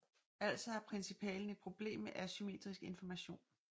Altså har principalen et problem med asymmetrisk information